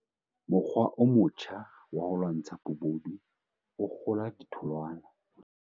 Mokgwa o motjha wa ho lwantsha bobodu o kgola ditholwana